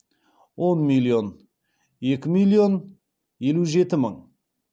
он миллион екі миллион елу жеті мың